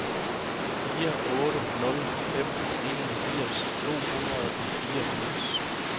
fire otte nul fem enogfirs to hundrede og fireogfirs